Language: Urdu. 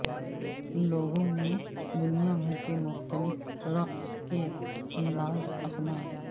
لوگوں نے دنیا بھر کے مختلف رقص کے انداز اپنائے